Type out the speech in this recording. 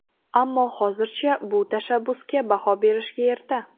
Ammo hozircha bu tashabbusga baho berishga erta.